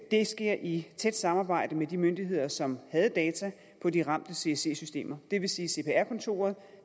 det sker i et tæt samarbejde med de myndigheder som havde data på de ramte csc systemer det vil sige cpr kontoret